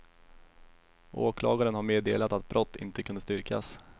Åklagaren har meddelat att brott inte kunde styrkas.